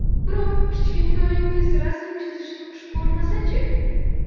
Biroq kichkintoyingiz rasm chizishni xush ko‘rmasa-chi?